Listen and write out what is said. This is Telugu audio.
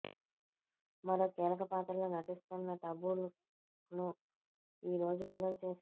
మరో కీలక పాత్రలో నటిస్తున్న టబు లుక్ను ఈ రోజు విడుదల చేశారు